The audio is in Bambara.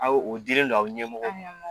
Aw o dilen don aw ɲɛmɔgɔ